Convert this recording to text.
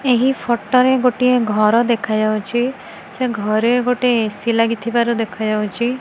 ଏହି ଫୋଟୋ ରେ ଗୋଟିଏ ଘର ଦେଖାଯାଉଛି ସେ ଘରେ ଗୋଟେ ଏ_ସି ଲାଗିଥିବାର ଦେଖାଯାଉଛି।